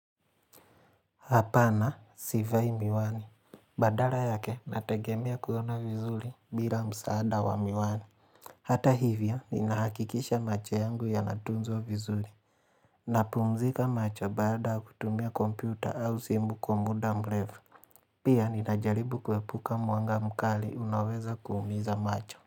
Hapana, sivai miwani. Badala yake, nategemea kuona vizuri bila msaada wa miwani. Hata hivya, ninahakikisha macho yangu yanatunzwa vizuri. Napumzika macho baada ya kutumia kompyuta au simu kwa muda mrefu. Pia, ninajaribu kuepuka mwanga mkali unaweza kuumiza macho.